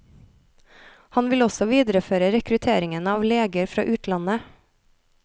Han vil også videreføre rekrutteringen av leger fra utlandet.